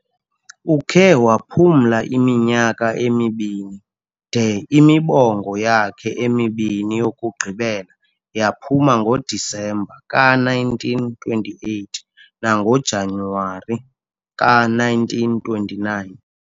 ukhe waphumla iminyaka emibini de imibongo yakhe emibini yokugqibela yaphuma ngoDisemba ka1928 nangoJanuwari ka1929.